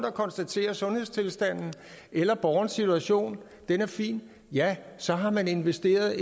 og konstaterer at sundhedstilstanden eller borgerens situation er fin ja så har man investeret